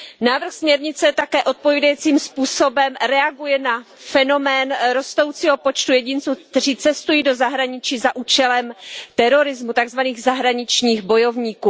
Návrh směrnice také odpovídajícím způsobem reaguje na fenomén rostoucího počtu jedinců, kteří cestují do zahraničí za účelem terorismu, tak zvaných zahraničních bojovníků.